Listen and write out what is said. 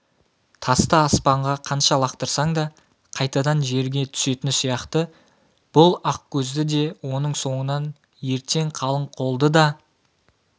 тасты аспанға қанша лақтырсаң да қайтадан жерге түсетіні сияқты бұл ақкөзді де оның соңынан ертең қалың қолды да